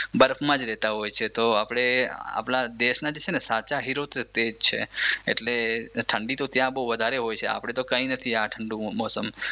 બરફમાં જ રેતા હોય છે તો આપણા દેશના તો સાચા હીરો તો તેજ છે એટલે ઠંડી તો ત્યાં બહુ વધારે હોય છે આપણે તો કાઇ નથી આ ઠંડુ મોસમ